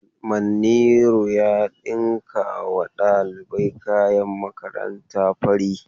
Manniru ya dinkawa dalibai kayan makaranta fari.